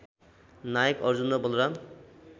नायक अर्जुन र बलराम